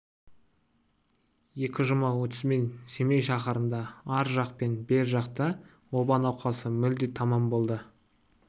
екі жұма өтісімен семей шаһарында ар жақ пен бер жақта оба науқасы мүлде тамам болды